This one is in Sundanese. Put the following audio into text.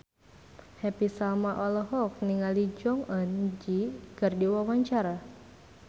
Happy Salma olohok ningali Jong Eun Ji keur diwawancara